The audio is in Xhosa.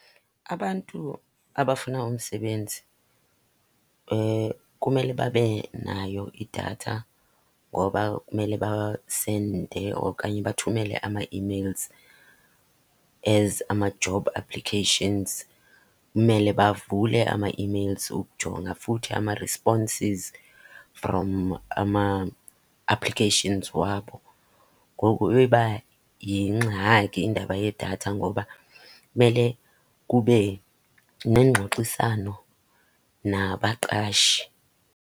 Abantu abafuna umsebenzi kumele babe nayo idatha ngoba kumele basende okanye bathumele ama-emails as ama-job applications, kumele bavule ama-emails ukujonga futhi ama-responses from ama-applications wabo. Ngoku iba yingxaki indaba yedatha ngoba kumele kube nengxoxisano nabaqashi.